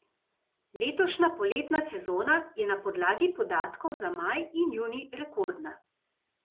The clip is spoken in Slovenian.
Letošnja poletna sezona je na podlagi podatkov za maj in junij rekordna.